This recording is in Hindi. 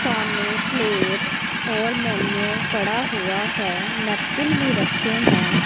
सामने प्लेट्स और मेन्यू पड़ा हुआ है नैपकिन भी रखे हैं।